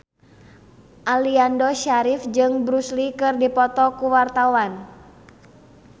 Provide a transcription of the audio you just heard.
Aliando Syarif jeung Bruce Lee keur dipoto ku wartawan